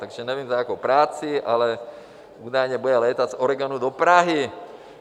Takže nevím, za jakou práci, ale údajně bude létat z Oregonu do Prahy.